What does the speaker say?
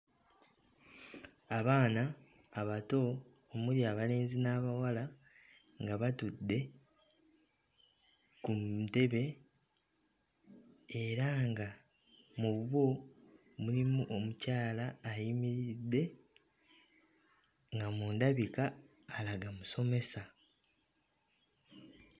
Abaana abato omuli abalenzi n'abawala nga batudde ku ntebe era nga mu bo mulimu omukyala ayimiridde nga mu ndabika alaga musomesa.